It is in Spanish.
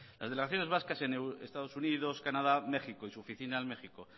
las delegaciones vascas en estados unidos canadá méxico y su oficina en méxico